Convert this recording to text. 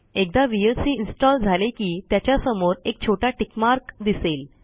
एकदा VLCइन्स्टॉल झाले की त्याच्या समोर एक छोटा टिक मार्क दिसेल